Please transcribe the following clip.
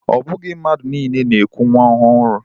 O bughi mmadu niile na-eku nwa ohuru.